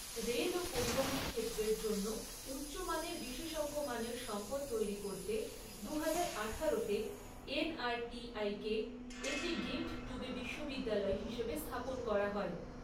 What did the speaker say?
Rail ও পরিবহণ ক্ষেত্রের জন্য উচ্চমানের বিশেষজ্ঞমানের সম্পদ তৈরী করতে দুহাজার আঠারোতে এনআরটিআই কে একটি ডিমড টু বি বিশ্ববিদ্যালয় হিসেবে স্থাপন করা হয়।